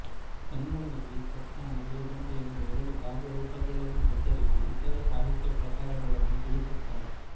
ಕನ್ನಡದಲ್ಲಿ ಚತ್ತಾಣ ಬೆದಂಡೆ ಎಂಬ ಎರಡು ಕಾವ್ಯ ರೂಪಗಳನ್ನು ಹೆಸರಿಸಿ ಇತರ ಸಾಹಿತ್ಯ ಪ್ರಕಾರಗಳನ್ನು ತಿಳಿಸುತ್ತಾನೆ